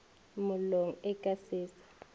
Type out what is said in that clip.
mollong e ka se sa